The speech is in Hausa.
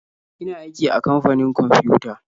Ina aiki a kamfanin kwamfiyuta.